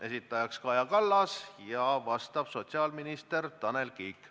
Esitaja on Kaja Kallas, vastab sotsiaalminister Tanel Kiik.